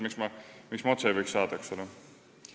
Miks ma seda otse ei võiks saada?